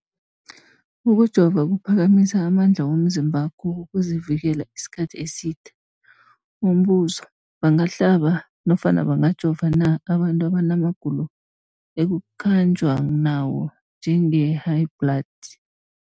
Ukujova kuphakamisa amandla womzimbakho wokuzivikela isikhathi eside. Umbuzo, bangahlaba nofana bangajova na abantu abanamagulo ekukhanjwa nawo, njengehayibhladi?